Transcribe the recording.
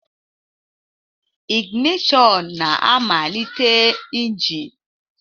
Ignishon na-amalite engine.